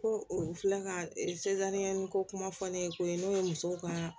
Ko u filɛ ka ko kuma fɔ ne ye ko ye n'o ye musow ka